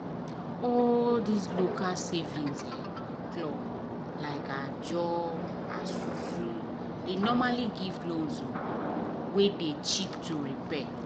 all these local saving clubs like ajo esusu dey normally give loans wey dey cheap to repay